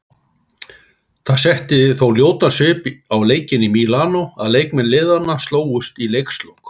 Það setti þó ljótan svip á leikinn í Mílanó að leikmenn liðanna slógust í leikslok.